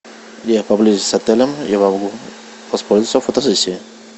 где поблизости с отелем я могу воспользоваться фотосессией